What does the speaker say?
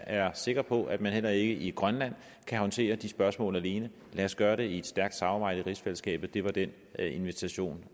er sikker på at man heller ikke i grønland kan håndtere de spørgsmål alene lad os gøre det i et stærkt samarbejde i rigsfællesskabet det var den invitation